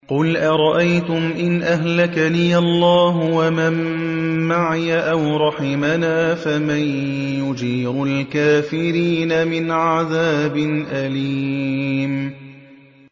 قُلْ أَرَأَيْتُمْ إِنْ أَهْلَكَنِيَ اللَّهُ وَمَن مَّعِيَ أَوْ رَحِمَنَا فَمَن يُجِيرُ الْكَافِرِينَ مِنْ عَذَابٍ أَلِيمٍ